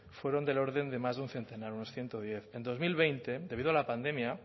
fueron del orden de más de un centenar unos ciento diez en dos mil veinte debido a la pandemia